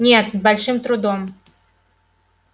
нет с большим трудом